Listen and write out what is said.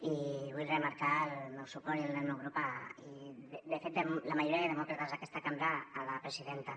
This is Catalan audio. i vull remarcar el meu suport i el del meu grup i de fet el de la majoria de demòcrates d’aquesta cambra a la presidenta